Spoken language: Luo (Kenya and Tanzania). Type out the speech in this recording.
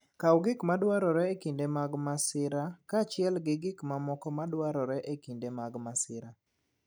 Kaw gik madwarore e kinde mag masira, kaachiel gi gik mamoko madwarore e kinde mag masira.